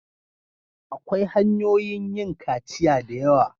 Akwai hanyoyin yin kaciya da yawa.